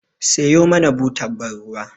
Siyo mana butar ban ruwa